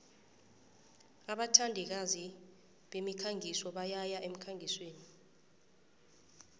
abathandikazi bemikhangiso bayaya emkhangisweni